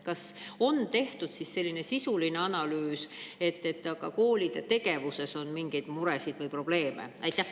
Kas on tehtud sisulist analüüsi et nende koolide tegevuses on mingeid muresid või probleeme?